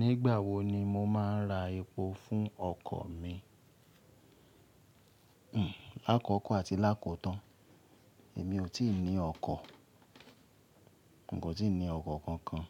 Nígbà wo ni mo máa ń ra epo fún ọkọ̀ mi? Hmm. Lákókò àti lákòótán. Èmi ò tí ì ní ọkọ̀. N kò tí ì ní ọkọ̀ kankan.